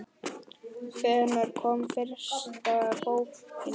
Hvenær kom fyrsta bókin út?